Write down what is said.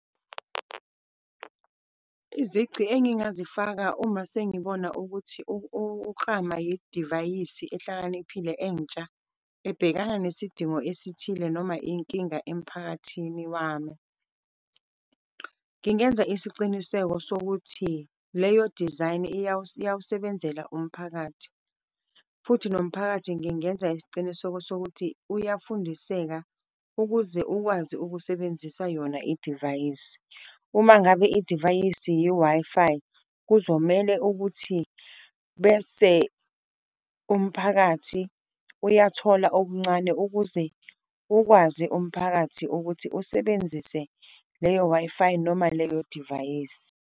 Izici engingazifaka uma sengibona ukuthi ukuklama idivayisi ehlakaniphile entsha ebhekana nesidingo esithile noma iy'nkinga emphakathini wami, ngingenza isiciniseko sokuthi leyo design iyawusebenzela umphakathi futhi nomphakathi ngingenza isiciniseko sokuthi uyafundiseka, ukuze ukwazi ukusebenzisa yona idivayisi. Uma ngabe idivayisi ye-Wi-Fi, kuzomele ukuthi bese umphakathi uyathola okuncane ukuze ukwazi umphakathi ukuthi usebenzise leyo Wi-Fi noma leyo divayisi.